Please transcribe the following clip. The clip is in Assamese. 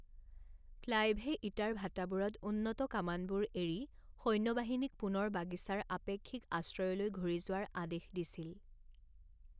ক্লাইভে ইটাৰ ভাটাবোৰত উন্নত কামানবোৰ এৰি সৈন্যবাহিনীক পুনৰ বাগিছাৰ আপেক্ষিক আশ্ৰয়লৈ ঘূৰি যোৱাৰ আদেশ দিছিল।